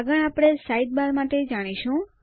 આગળ આપણે સાઇડબાર માટે જાણીશું